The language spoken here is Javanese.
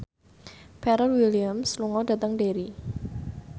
Pharrell Williams lunga dhateng Derry